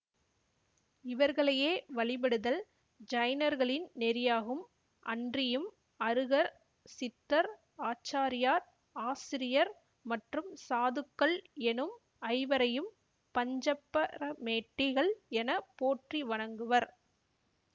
இவர்களையே வழிபடுதல் ஜைனர்களின் நெறியாகும் அன்றியும் அருகர் சித்தர் ஆச்சாரியார் ஆசிரியர் மற்றும் சாதுக்கள் எனும் ஐவரையும் பஞ்சப்பரமேட்டிகள் என போற்றி வணங்குவர்